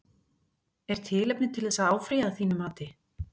Er tilefni til þess að áfrýja að þínu mati?